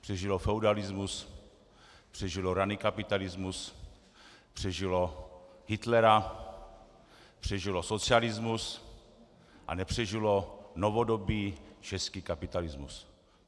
Přežilo feudalismus, přežilo raný kapitalismus, přežilo Hitlera, přežilo socialismus, a nepřežilo novodobý český kapitalismus.